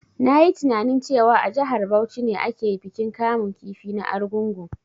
Na yi tininain cewa a jihar Bauchi ake bikin kamun kifi na argungu